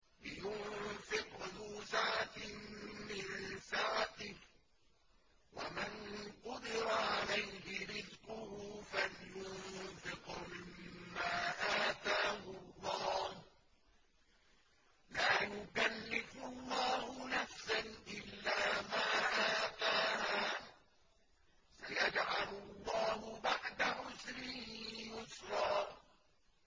لِيُنفِقْ ذُو سَعَةٍ مِّن سَعَتِهِ ۖ وَمَن قُدِرَ عَلَيْهِ رِزْقُهُ فَلْيُنفِقْ مِمَّا آتَاهُ اللَّهُ ۚ لَا يُكَلِّفُ اللَّهُ نَفْسًا إِلَّا مَا آتَاهَا ۚ سَيَجْعَلُ اللَّهُ بَعْدَ عُسْرٍ يُسْرًا